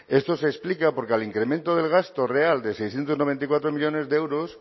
esto se explica porque al incremento del gasto real de seiscientos noventa y cuatro millónes de euros